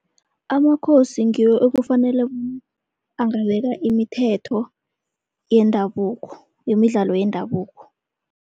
AmaKhosi ngiwo ekufanele, angabeka imithetho yendabuko, yemidlalo yendabuko.